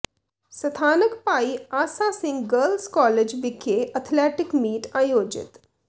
ਸਥਾਨਕ Bhai Asa Singh girls college ਵਿਖੇ athletic meet ਆਯੋਜਿਤ